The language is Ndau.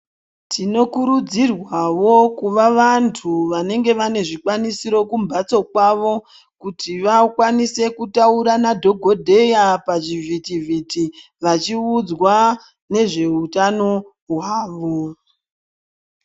Tinokurudzirwavo vantu vanenge vane zvikwanisiro kumbatso kwavo kuti vakwanise kutaura nadhogoteya pazvivhiti- vhiti vachiudzwa nezveutano hwavo.